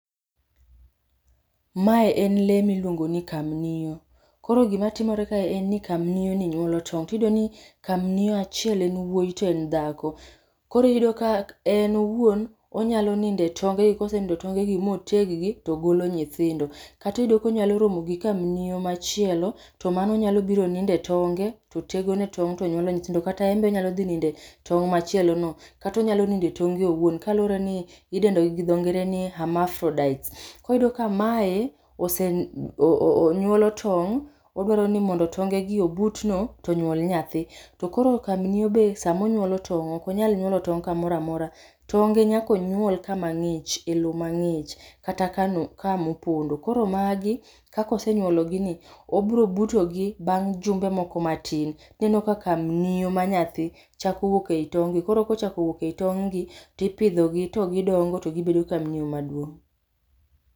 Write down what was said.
Ma en lee miluongo ni kamnio. Koro gima timore kaeni en ni kamnioni nyuolo tong' to iyudo ni kamnio achiel en wuoyi to en dhako. Koro iyudo ka en owuon onyalo nindo tonge kosenindo e tongegi moteg gi to golo nyithindo. Kata iyudo ka onyalo romo gi kamnio machielo to mano nyalo biro nindo e tonge to tegone tong' to nyuolo nyithindo kata en be onyalo dhi nindo e tong' machielono kata onyalo nindo e tonge owuon kaluwore ni idendo gi dho ngere ni hermaphrodites, koyudo ka mae ose nyuolo tong' to oduaro ni mondo tongegi obut no to onyuol nyathi. To koro kamnio be sama onyuolo tong' ok onyal nyuolo tong' kamoro amora, tonge nyaka onyuol kama ng'ich, e lowo mang'ich kata kama opondo. To koro magi, kaka osenyuologini, obiro butogi bang' jumbe moko matin. Ineno ka kamnio ma nyathi chako wuok ei tonge, koro kochako wuok ei tong' gi to ipidhogi to gidongo to gibedo kamnio maduong'.